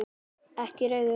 Ekki reiður.